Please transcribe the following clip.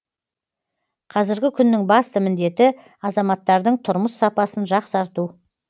қазіргі күннің басты міндеті азаматтардың тұрмыс сапасын жақсарту